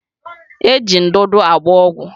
Eji ndụdụ agba ọgwụ